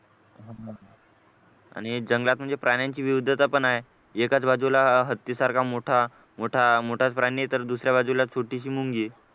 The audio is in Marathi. प्राण्यांची विविधता पण आहे एकाच बाजूला हत्तीसारखा मोठा मोठा मोठाच प्राणी आहे तर दुसऱ्या बाजूला छोटीशी मुंगी